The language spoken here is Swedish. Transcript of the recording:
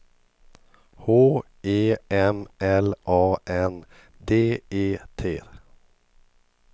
H E M L A N D E T